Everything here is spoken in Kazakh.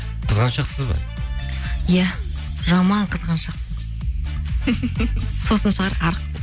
қызғаншақсыз ба иә жаман қызғаншақпын сосын шығар арық